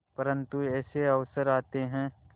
परंतु ऐसे अवसर आते हैं